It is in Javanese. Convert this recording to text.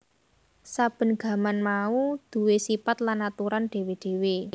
Saben gaman mau duwé sipat lan aturan dhéwé dhéwé